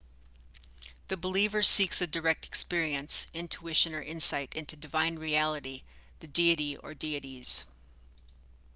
the believer seeks a direct experience intuition or insight into divine reality/the deity or dieties